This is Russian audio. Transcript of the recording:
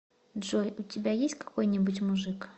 джой у тебя есть какой нибудь мужик